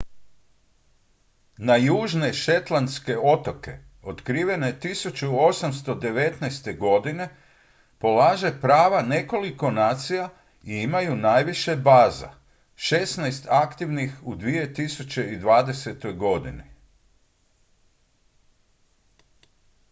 na južne shetlandske otoke otkrivene 1819. godine polaže prava nekoliko nacija i imaju najviše baza šestnaest aktivnih u 2020. godini